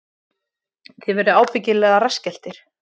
Þið verðið ábyggilega rassskelltir